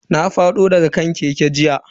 Na fado daga kan keke jiya.